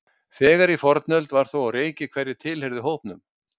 þegar í fornöld var þó á reiki hverjir tilheyrðu hópnum